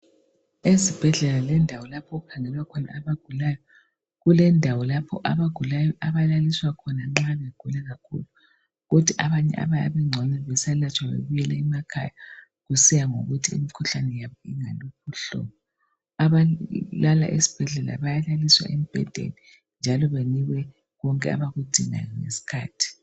Ezibhedlela lendawo lapho okukhangelwa khona abagulayo. Kulendawo lapho abagulayo abalaliswa khona nxa begula kakhulu. Kuthi abanye abayabe bengcono beselatshwa babuyele emakhaya, kusiya ngokuthi imikhuhlane yabo ingaluphi uhlobo. Abantu lana bayalaliswa embhedeni njalo banikwe konke abakudingayo ngeskhathi.